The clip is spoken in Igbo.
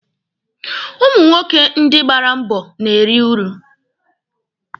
Ụmụ nwoke ndị gbara mbọ na-eri uru.